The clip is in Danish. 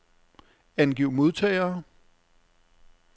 Angiv modtagere.